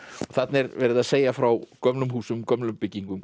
þarna er verið að segja frá gömlum húsum gömlum byggingum